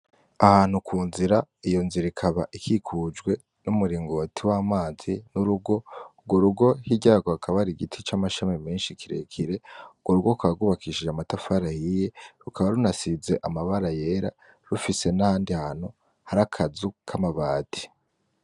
Ahantu kunzira iyonzira ikaba ikikujwe n’umuringoti wamazi n'urugo, ugworugo hirya yagwo hakaba hari igiti c’amashami menshi kirekire ,ugworugo rukaba gwubakishije amatafari ahiye rukaba runasize amabara yera rufise n’ahandi hantu hari akazu k’amabati.